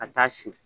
Ka taa si